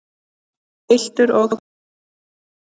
Piltur og stúlka.